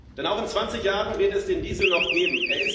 Denn auch in 20 Jahren wird es den Diesel noch geben.